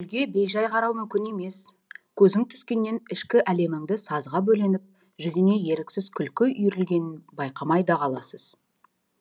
гүлге бей жай қарау мүмкін емес көзің түскеннен ішкі әлеміңді сазға бөленіп жүзіңе еріксіз күлкі үйірілгенін байқамай да қаласыз